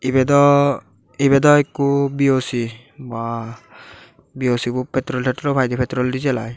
ibedo ibedo ikko BOC bua BOC bot petrol tetrol paide petrol diesel aai.